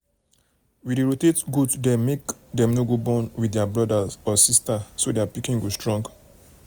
we dey rotate goat dem make dem no go born with their brother or sister so their pikin go strong.